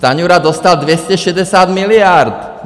Stanjura dostal 260 miliard!